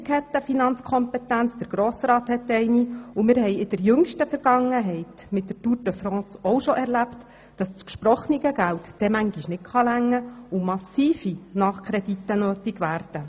Die Regierung hat eine Finanzkompetenz, der Grosse Rat ebenso, und wir haben auch schon erlebt, dass das gesprochene Geld dann manchmal nicht ausreicht und massive Nachkredite notwendig werden.